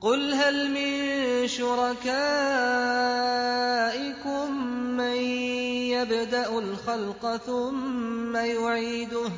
قُلْ هَلْ مِن شُرَكَائِكُم مَّن يَبْدَأُ الْخَلْقَ ثُمَّ يُعِيدُهُ ۚ